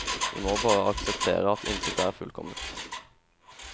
Vi må bare akseptere at intet er fullkomment.